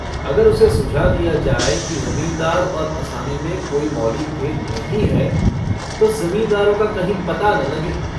अगर उसे सुझा दिया जाय कि जमींदार और असामी में कोई मौलिक भेद नहीं है तो जमींदारों का कहीं पता न लगे।